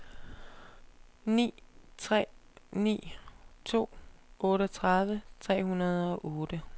ni tre ni to otteogtredive tre hundrede og otte